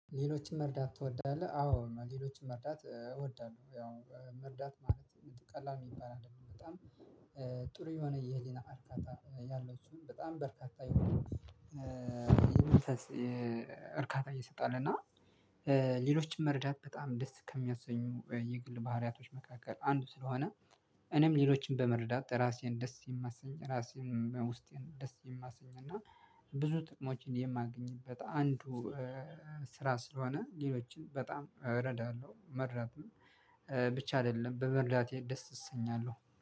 ሌሎችን መርዳት ትወዳለህ? አዎ ሌሎችን መርዳት እወዳለሁ። ያው መርዳት ማለት ቀላል ሚባል አይደለም በጣም ጥሩ የሆነ የህሊና አርካታ ያለው ሲሆን በጣም በርካታ የሆነ የመንፈስ እርካታ ይሰጣል። እና ሌሎችም መርዳት በጣም ደስ ከሚያሰኙ የግል ባህሪያቶች መካከል አንዱ ስለሆነ እኔም ሌሎችን በመርዳት ራሴን ደስ የማሰኝ ራሴን ውስጤን ደስ የማሰኝ እና ብዙ ጥቅሞችን የማገኝበት አንዱ ስራ ስለሆነ ሌሎችን በጣም እረዳለሁ። መርዳትም ብቻ አይደለም በመርዳቴ ደስ እሰኛለሁ